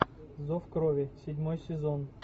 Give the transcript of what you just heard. зов крови седьмой сезон